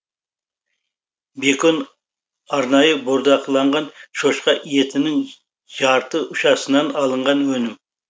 бекон арнайы бордақыланған шошқа етінің жарты ұшасынан алынған өнім